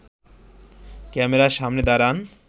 ক্যামেরার সামনে দাঁড়ান